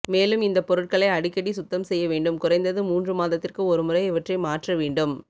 மேலும் இந்தப் பொருட்களை அடிக்கடி சுத்தம் செய்ய வேண்டும் குறைந்தது மூன்று மாதத்திற்கு ஒரு முறை இவற்றை மாற்ற வேண்டும்